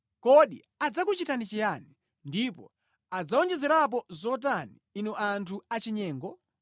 Kodi adzakuchitani chiyani, ndipo adzawonjezerapo zotani, inu anthu achinyengo?